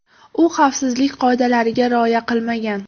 U xavfsizlik qoidalariga rioya qilmagan.